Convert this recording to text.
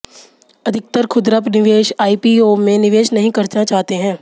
अधिकतर खुदरा निवेश आईपीओ में निवेश नहीं करना चाहते हैं